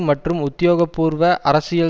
மற்றும் உத்தியோகபூர்வ அரசியல்